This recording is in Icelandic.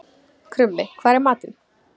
Krummi, hvað er í matinn?